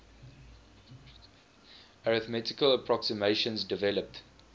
arithmetical approximations developed